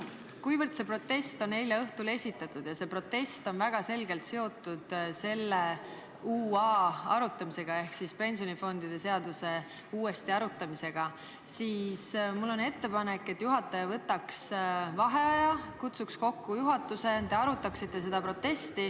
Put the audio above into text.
Kuivõrd see protest on esitatud eile õhtul ja väga selgelt seotud pensionifondide seaduse uuesti arutamisega, siis on mul ettepanek, et juhataja võtaks vaheaja, kutsuks juhatuse kokku ja te arutaksite seda protesti.